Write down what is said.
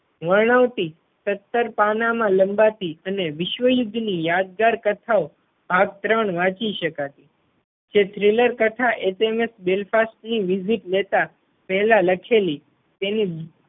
વર્ણવતી સત્તર પાનાં માં લંબાતી અને વિશ્વ યુદ્ધ ની યાદગાર કથાઓ આ ત્રણ વાંચી શકાય. એ thriller કથા HMS Belfast ની visit લેતા પહેલા લખેલી તેની